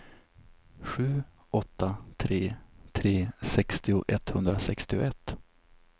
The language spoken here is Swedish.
sju åtta tre tre sextio etthundrasextioett